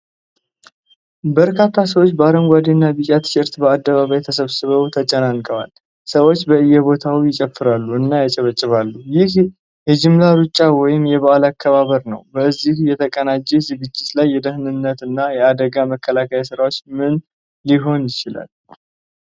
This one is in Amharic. በርካታ ሰዎች በአረንጓዴ እና ቢጫ ቲሸርት በአደባባይ ተሰብስበው ተጨናንቀዋል። ሰዎች በእየቦታው ይጨፍራሉ እና ያጨበጭባሉ፤ ይህም የጅምላ ሩጫ ወይም የበዓል አከባበር ነው። በዚህ የተጨናነቀ ዝግጅት ላይ የደህንነት እና የአደጋ መከላከል ሥራዎች ምን ሊሆኑ ይችላሉ?